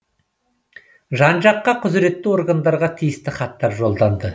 жан жаққа құзіретті органдарға тиісті хаттар жолданды